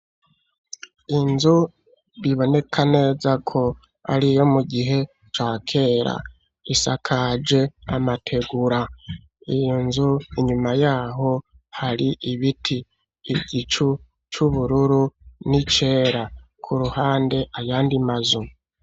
Inzu biboneka neza ko ariyo mu gihe ca kera isakajwe amategura. Iyo nzu inyuma yaho hari ibiti. Igicu c'ubururu n'icera; ku ruhande ayandi mazu.